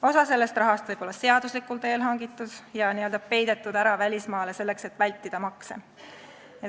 Osa sellest rahast võib-olla seaduslikul teel hangitud ja n-ö peidetud ära välismaale, selleks et vältida makse.